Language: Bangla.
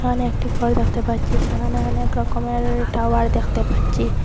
এখানে একটি ঘর দেখতে পাচ্ছি সেখানে অনেক রকমের টাওয়ার দেখতে পাচ্ছি।